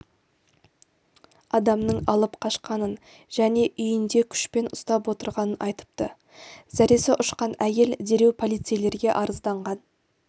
адамның алып қашқанын және үйінде күшпен ұстап отырғанын айтыпты зәресі ұшқан әйел дереу полицейлерге арызданған